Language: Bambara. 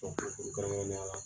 kuma surun kɛnrɛnneya la